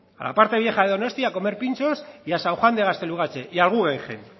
a la parte vieja de donosti a comer pinchos y a san juan de gaztelugatxe y al guggenheim